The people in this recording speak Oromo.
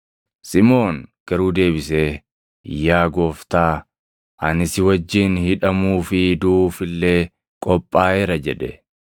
Simʼoon garuu deebisee, “Yaa Gooftaa, ani si wajjin hidhamuu fi duʼuuf illee qophaaʼeera” jedhe.